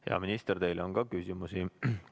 Hea minister, teile on ka küsimusi.